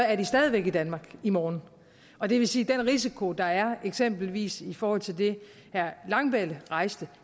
er de stadig væk i danmark i morgen og det vil sige at den risiko der er eksempelvis i forhold til det herre langballe rejste